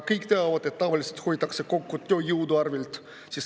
Kõik teavad, et tavaliselt hoitakse kokku tööjõu arvel.